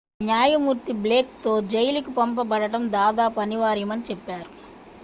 "న్యాయమూర్తి బ్లేక్‌తో జైలుకు పంపబడటం "దాదాపు అనివార్యమని" చెప్పారు.